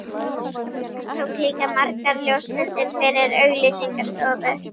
Hann tók líka margar ljósmyndir fyrir auglýsingastofur.